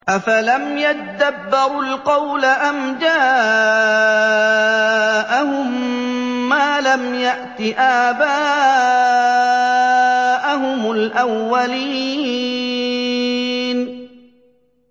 أَفَلَمْ يَدَّبَّرُوا الْقَوْلَ أَمْ جَاءَهُم مَّا لَمْ يَأْتِ آبَاءَهُمُ الْأَوَّلِينَ